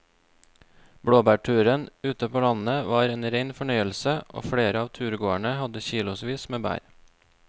Blåbærturen ute på landet var en rein fornøyelse og flere av turgåerene hadde kilosvis med bær.